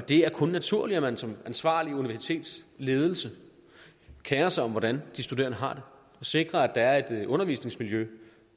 det er kun naturligt at man som ansvarlig universitetsledelse kerer sig om hvordan de studerende har og sikrer at der er et undervisningsmiljø